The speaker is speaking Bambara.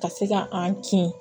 Ka se ka an kin